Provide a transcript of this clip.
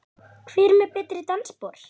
Hver er með betri dansspor?